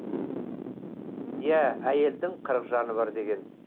иә әйелдің қырық жаны бар деген